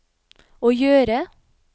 å gjøre